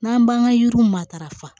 N'an b'an ka yiriw matarafa